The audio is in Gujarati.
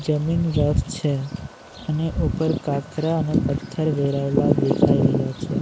જમીન રફ છે અને ઉપર કાકરા અને પથ્થર વેરાયેલા દેખાઈ રહ્યા છે.